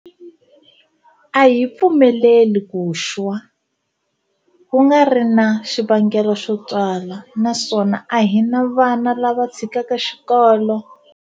A hi pfumeleli ku xwa, ku nga ri na xivangelo xo twala, naswona a hi na vana lava tshikaka xikolo.